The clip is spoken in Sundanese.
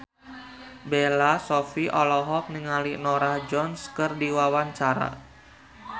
Bella Shofie olohok ningali Norah Jones keur diwawancara